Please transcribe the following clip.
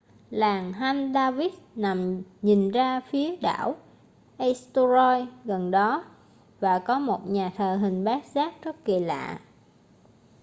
làng haldarsvík nằm nhìn ra phía đảo eysturoy gần đó và có một nhà thờ hình bát giác rất kỳ lạ